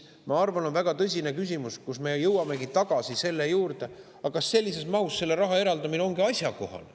Ma arvan, et on väga tõsine küsimus – me jõuamegi tagasi selle juurde –, kas sellises mahus raha eraldamine on üldse asjakohane.